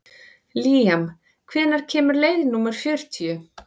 Líam, hvenær kemur leið númer fjörutíu?